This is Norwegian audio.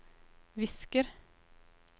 visker